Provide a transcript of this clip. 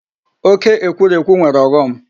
Oke ekwurekwu nwere ọghọm.